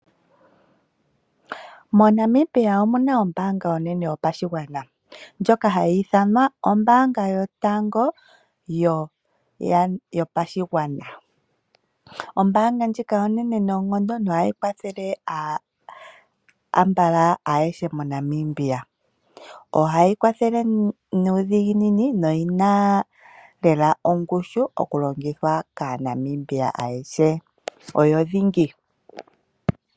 MoNamibia omuna ombaanga yotango yopashigwana ndjoka hayi thanwa ombaanga yotango yopashigwana. Ombaanga ndjika onene noonkondo nohayi kwathele aambala ayehe moNamibia. Ohayi kwathele nuudhiginini noyi na ongushu mokulongithwa kaaNamibia ayehe. Oyo dhingi.